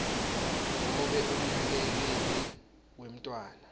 nobe umnakekeli wemntfwana